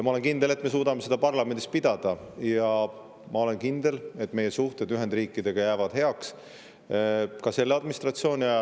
Ma olen kindel, et me suudame seda debatti parlamendis pidada, ja ma olen kindel, et meie suhted Ühendriikidega jäävad heaks ka selle administratsiooni ajal.